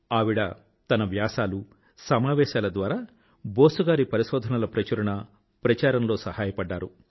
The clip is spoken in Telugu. ఆవిడ తన వ్యాసాలు మరియు సమావేశాలు ద్వారా బోస్ గారి పరిశోధన యొక్క ప్రచురణ మరియు ప్రచారం లో సహాయపడింది